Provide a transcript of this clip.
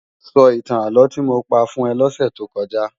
Sò itán álò ti mó pá fún è lòsè tó kòjá